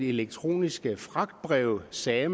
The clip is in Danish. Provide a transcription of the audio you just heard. elektroniske fragtbreve sagde